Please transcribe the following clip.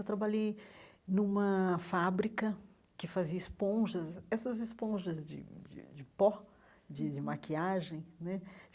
Eu trabalhei numa fábrica que fazia esponjas, essas esponjas de de de pó, de de maquiagem né.